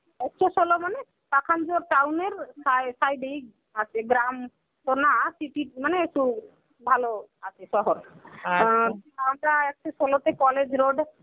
একশ ষোল মানে, পাখান্জর town এর সায়~ side এই আছে গ্রাম তো না city মানে তো ভালো আছে শহর. আ town টায় আছে ষোলটি college road.